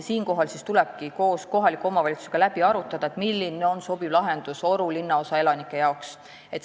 Siinkohal tulebki koos kohaliku omavalitsusega läbi arutada, milline on sobiv lahendus Oru linnaosa elanike jaoks.